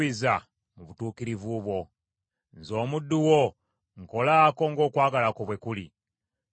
Nze omuddu wo nkolaako ng’okwagala kwo bwe kuli; era onjigirize amateeka go.